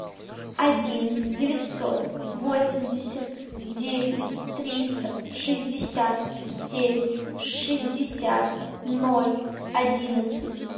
один девятьсот восемьдесят девять триста шестьдесят семь шестьдесят ноль одиннадцать